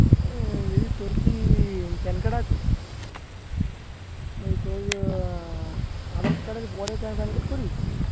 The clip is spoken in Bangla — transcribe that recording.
বলছি তোর কি PAN card আছে? ওই তোর আহ আধার card এর পরে PAN card করিয়েছিস?